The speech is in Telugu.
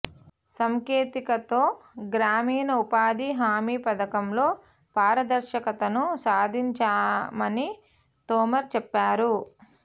సాంకేతికతతో గ్రామీణ ఉపాధి హామీ పథకంలో పారదర్శకతను సాధించామని తోమర్ చెప్పారు